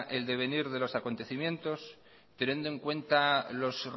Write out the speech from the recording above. el devenir de los acontecimientos teniendo en cuenta los